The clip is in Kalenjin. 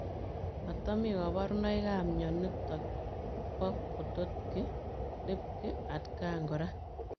Matamii kabarunoik ap mionitok poo Potocki Lipki atkaan koraa